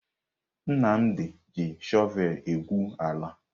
Nnamdi ji shọvel na-egwu ala.